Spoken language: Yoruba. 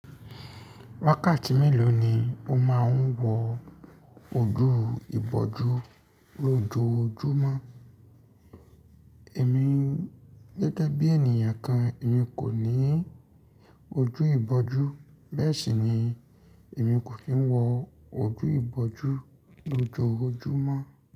Wákàtí mélòó ni o máà ń wọ ojú ìbojú lójojúmọ́? Èmi gẹ́gẹ́ bí ènìyàn kan, èmi kò ní ojú ìbojú, bẹ́ẹ̀ sì ni èmi kò kí ń wọ ojú ìbojú lójoojúmọ́.